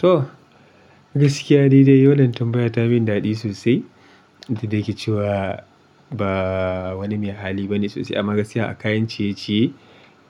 To gaskiya dai dai, wannan tambaya ta min daɗi sosai. Inda yake cewa ba wani me hali bane sosai. Amma gaskiya a kayan ciye-ciye